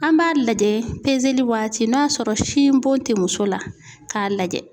An b'a lajɛ waati n'a sɔrɔ sin bon tɛ muso la k'a lajɛ